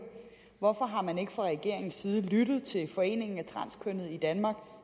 hvorfor man ikke fra regeringens side har lyttet til foreningen af transkønnede i danmark